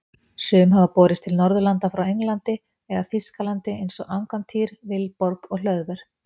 Sum hafa borist til Norðurlanda frá Englandi eða Þýskalandi eins og Angantýr, Vilborg og Hlöðver.